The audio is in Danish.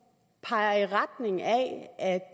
peger